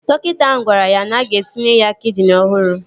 Dọkịta ahụ gwara ya na-aga etinye ya kidini ọhụrụ